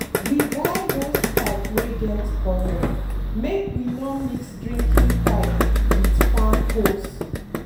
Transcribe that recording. we buy hosepipe wey get colour make we no mix drinking pipe with farm hose.